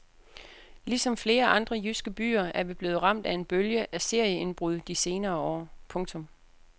Ligesom flere andre jyske byer er vi blevet ramt af en bølge af serieindbrud de senere år. punktum